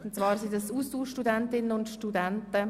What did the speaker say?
Es handelt sich um Austauschstudentinnen und -studenten.